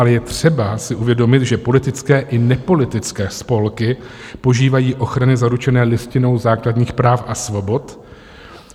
Ale je třeba si uvědomit, že politické i nepolitické spolky požívají ochrany zaručené Listinou základních práv a svobod.